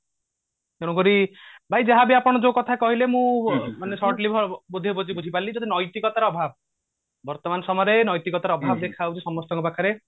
ତେଣୁକରି ଭାଇ ଆପଣ ଯୋଉ କଥା କହିଲେ ମୁଁ ବୁଝି ପାରିଲି ନୈତିକତା ର ଅଭାବ ବର୍ତମାନ ସମୟରେ ନୈତିକତା ର ଅଭାବ ଦେଖା ଯାଉଛି ସମସ୍ତଙ୍କ ପାଖରେ